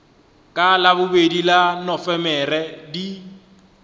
ka labobedi la nofemere di